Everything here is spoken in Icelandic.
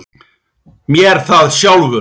MÉR ÞAÐ SJÁLFUR!